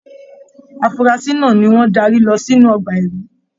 Afurasi náà ní wọn darí lọ sínú ọgbà ẹrí.